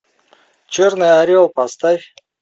черный орел поставь